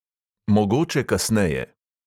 Mogoče kasneje.